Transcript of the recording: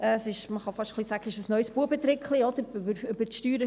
Man kann fast sagen, dass es ein neues «Buebetrickli» ist.